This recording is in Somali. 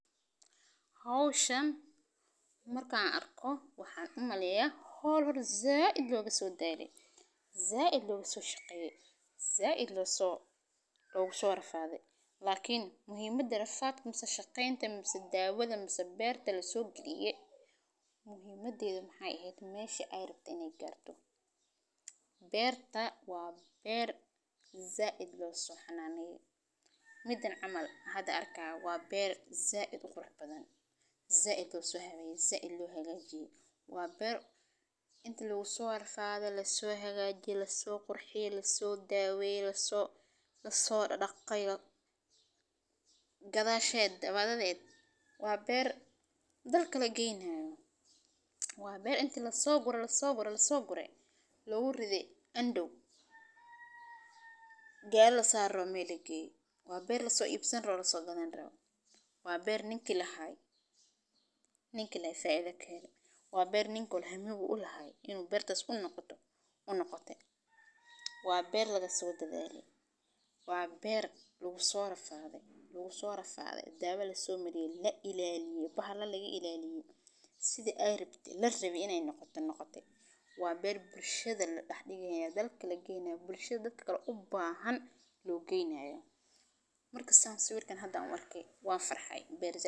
Howshaan markaan arko waxaan u marayo hawl hawl. Za'id loogu soo dheeri za'ido su shaqeeyay za'id loo soo loogu soo rafaaday. Laakiin muhiimada rafaad, kuma shaqaynta, kuma daawada, kuma beer ta la soo geliye. Muhiimadii xubnaha ah ay hayso meeshii ay rabti inay gaarto Beer ta waa beer. Za'id loo soo xanaaniyay midan camaal. Hadda arka ah waa beer za'id u qurux badan. Za'ido suxawaya za'id lagagaji waa beer inta lagu soo rafaado la soo hagaaji la soo qurxi la soo daaway la soo la soo dhaqayga gadaa sheed waa dad weyd waa beer. Dalka la gaynaayo waa beer inta la soo gura la soo baro la soo guray la u riday andu. Gel la saaro meeligii waa beer la soo iibsan rao la soo ganaan rao waa beer ninkii la hay ninkii la faiido ka heli waa beer ningkii hore hambuhu la hay inuu beertas u noqoto u noqote waa beer laga soo daddeeliyay waa beer lagu soo rafaaday lagu soo rafaaday daawo la soo miriyay la ilaaliyay bahla laga ilaaliyay. Sida ay rabti la rabi inay noqoto noqote waa beer bulshada la dhexi gaynaa dalka la gaynaa bulshada dalka u baahan la gaynaayo. Marka saamayn sawirkan hadda markay waa farxahay beer.